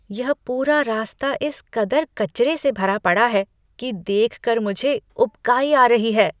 यह पूरा रास्ता इस कदर कचरे से भरा पड़ा है कि देख कर मुझे उबकाई आ रही है।